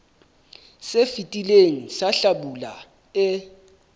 se fetileng sa hlabula e